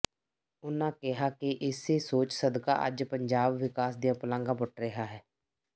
ਉਨ੍ਹਾਂ ਕਿਹਾ ਕਿ ਇਸੇ ਸੋਚ ਸਦਕਾ ਅੱਜ ਪੰਜਾਬ ਵਿਕਾਸ ਦੀਆਂ ਪੁਲਾਂਘਾਂ ਪੁੱਟ ਰਿਹਾ ਹੈ